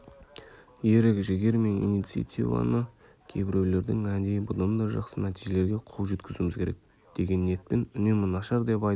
ерік-жігер мен инициативаны кейбіреулердің әдейі бұдан да жақсы нәтижелерге қол жеткізуіміз керек деген ниетпен үнемі нашар деп айтып